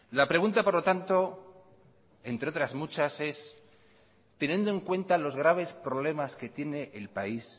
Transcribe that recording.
la pregunta por lo tanto entre otras muchas es teniendo en cuenta los graves problemas que tiene el país